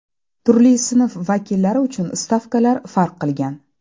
Turli sinf vakillari uchun stavkalar farq qilgan.